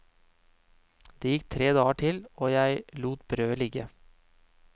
Det gikk tre dager til, og jeg lot brødet ligge.